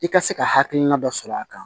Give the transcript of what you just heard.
I ka se ka hakilina dɔ sɔrɔ a kan